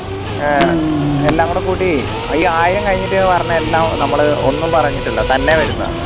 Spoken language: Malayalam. ഏർ എല്ലാം കൂടി കൂട്ടി ഈ ആയിരം കഴിഞ്ഞിട്ട് പറഞ്ഞ എല്ലാം നമ്മൾ ഒന്നും പറഞ്ഞിട്ടില്ല തന്നെ വരുന്നത